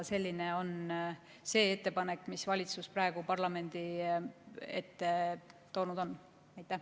Selline on ka ettepanek, mille valitsus praegu parlamendi ette on toonud.